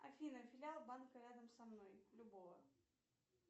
афина филиал банка рядом со мной любого